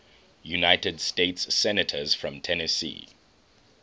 united states senators from tennessee